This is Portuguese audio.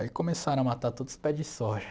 Aí começaram a matar todos os pé de soja.